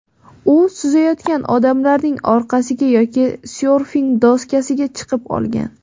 U suzayotgan odamlarning orqasiga yoki syorfing doskasiga chiqib olgan.